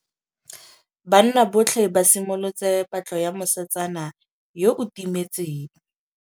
Banna botlhê ba simolotse patlô ya mosetsana yo o timetseng.